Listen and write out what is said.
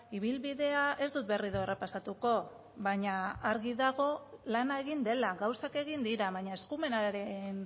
ibilbidea ez dut berriro errepasatuko baina argi dago lana egin dela gauzak egin dira baina eskumenaren